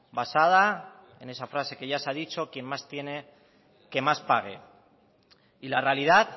basada en esa frase que ya se ha dicho quien más tiene que más pague y la realidad